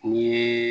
Ni